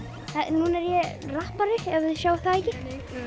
núna er ég rappari ef þið sjáið það ekki